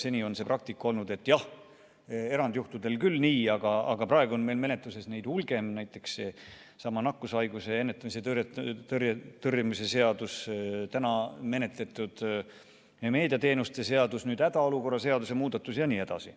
Seni on praktika olnud selline, et jah, erandjuhtudel võib küll nii, aga praegu on meil menetluses neid hulgi: näiteks seesama nakkushaiguste ennetamise ja tõrje seadus, täna menetletud meediateenuste seadus, nüüd hädaolukorra seaduse muudatus jne.